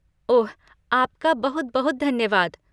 ओह, आपका बहुत बहुत धन्यवाद।